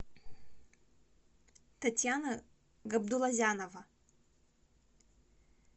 татьяна габдулазянова